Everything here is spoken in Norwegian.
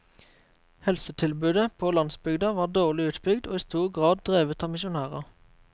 Helsetilbudet på landsbygda var dårlig utbygd og i stor grad drevet av misjonærer.